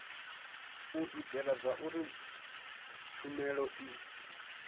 u itela zwauri tshumelo i